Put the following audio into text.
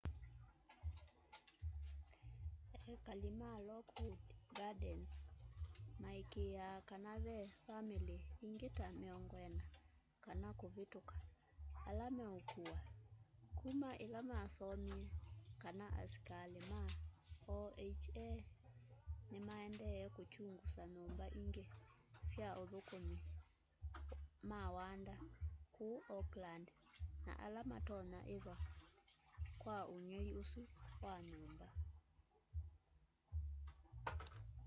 ekali ma lockwood gardens maikîîaa kana ve vamîlî ingî ta 40 kana kûvîtûka ala meûkûwa kuma îla masomie kana asikalî ma oha nîmaendee kûkyungusa nyûmba ingî sya athûkûmi ma wanda kûu oakland na ala matonya ithwa kwa ûngei ûsu wa nyûmba